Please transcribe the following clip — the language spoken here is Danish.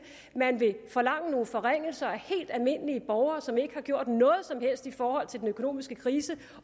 at man vil forlange nogle forringelser af helt almindelige borgere som ikke har gjort noget som helst i forhold til den økonomiske krise